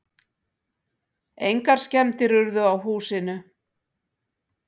Engar skemmdir urðu á húsinu.